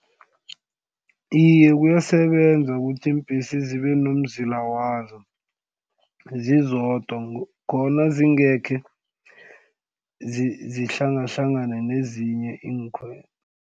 Iye, kuyasebenza ukuthi iimbhesi zibe nomzila wazo zizodwa khona zingekhe zihlangahlangane nezinye iinkhwelo.